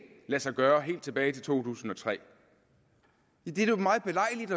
lade sig gøre helt tilbage til to tusind og tre ja det er jo meget belejligt